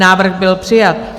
Návrh byl přijat.